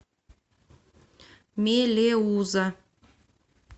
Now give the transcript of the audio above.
мелеуза